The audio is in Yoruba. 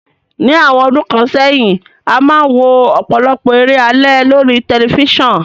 Ní àwon odún kan sẹ́hìn, a máa n wo òpòlopò eré alé lórí telifisan